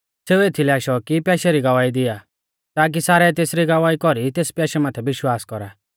सेऊ एथीलै आशौ कि प्याशै री गवाही दिआ ताकी सारै तेसरी गवाही कौरी तेस प्याशै माथै विश्वास कौरा